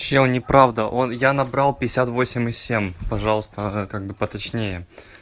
все неправда он я набрал пятьдесят восемь и семь пожалуйста как бы поточнее